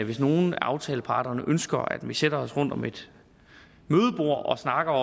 hvis nogen af aftaleparterne ønsker at vi sætter os rundt om et mødebord og snakker